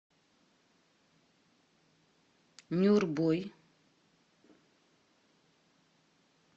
нюрбой